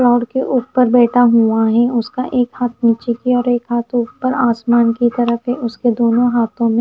दीवार के ऊपर बैठा हुआं हैं उसका एक हाथ नीचे की ओर एक हाथ ऊपर आसमान की तरफ है उसके दोनों हाथों में--